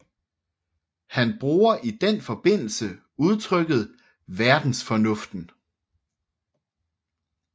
Han bruger i den forbindelse udtrykket verdensfornuften